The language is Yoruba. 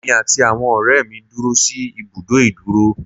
Èmi àti àwọn ọ̀rẹ́ mi dúró sí ìbùdó ìdúró.